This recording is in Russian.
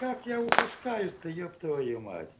как я упускаю та еб твою мать